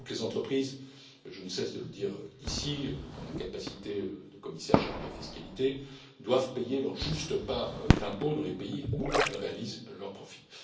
Toutes les entreprises, je ne cesse de le dire ici, en ma capacité de commissaire chargé de la fiscalité, doivent payer leur juste part d'impôts dans les pays où elles réalisent leurs profits.